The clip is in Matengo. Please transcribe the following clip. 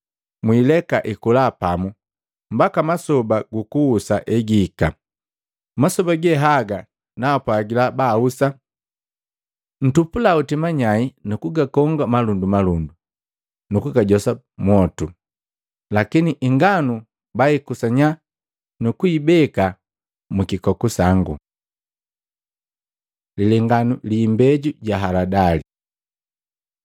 Muileka ikola pamu mbaka masoba gukuhusa egihika. Masoba ge haga naapwagila baahusa ntupula hoti manyai nukugakoonga malundumalundu nu kugajosa mwotu, lakini inganu baikusanya nukuibeka mwikikoku sangu.’ ” Lilenganu gi imbeju ja haladali Maluko 4:30-32; Luka 13:18-19